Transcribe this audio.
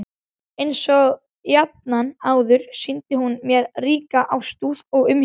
Einsog jafnan áður sýndi hún mér ríka ástúð og umhyggju.